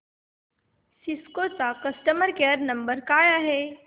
Cisco चा customer care number काय आहे